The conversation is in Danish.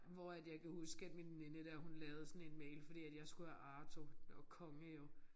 Hvor at jeg kan huske at min veninde der hun lavede sådan en mail fordi at jeg skulle have Arto. Det var konge jo